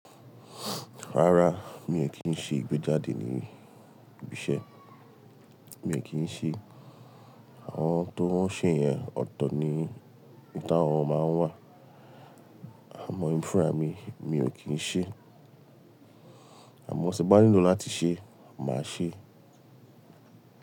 Rárá, mi ò kí ń ṣe ìgbéjáde ní ibi iṣẹ́. Mi ò kí ń se é. Àwọn tó wọ́n ṣe yẹn ọ̀tọ̀ ni ìta wọn máa ń wà. À mó, èmí fún ara mi, mi ò kí n se é. Àmọ́, tí mo bá nílò láti ṣe, màá ṣé.